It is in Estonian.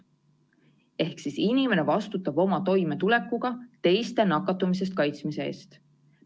Ehk siis inimene vastutab oma toimetulekuga teiste nakatumise eest kaitsmise eest.